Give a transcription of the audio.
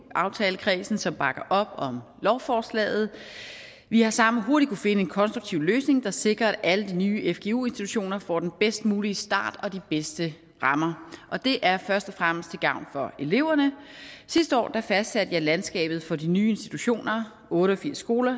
aftalekredsen som bakker op om lovforslaget vi har sammen hurtigt kunnet finde en konstruktiv løsning der sikrer at alle de nye fgu institutioner får den bedst mulige start og de bedste rammer det er først og fremmest til gavn for eleverne sidste år fastsatte jeg landskabet for de nye institutioner otte og firs skoler